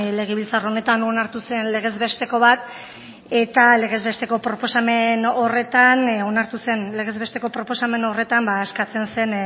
legebiltzar honetan onartu zen legezbesteko bat eta legezbesteko proposamen horretan onartu zen legezbesteko proposamen horretan eskatzen zen